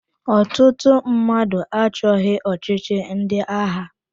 Ọtụtụ mmadụ achọghị ọchịchị ndị agha.